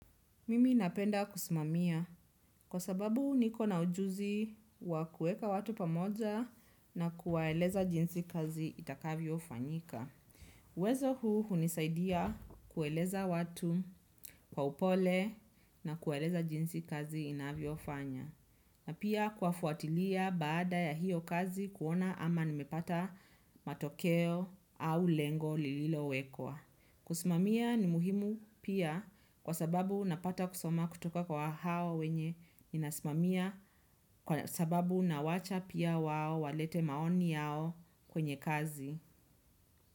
Mimi napenda kusimamia kwa sababuu niko na ujuzii wa kuweka watu pamoja na kuwaeleza jinsi kazi itakavyo fanyika. Uwezo huu hunisaidia kuwaeleza watu kwa upole na kuwaeleza jinsi kazi inavyofanya. Na pia kuwafuatilia baada ya hiyo kazi kuona ama nimepata matokeo au lengo lililo wekwa. Kusimamiaa ni muhimu pia kwa sababu napata kusoma kutoka kwa hao wenye ninasimamia kwa sababu nawacha pia wao walete maoni yao kwenye kazi.